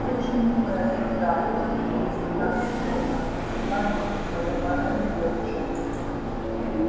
очень милое создание держится так скромно как и подобает девушке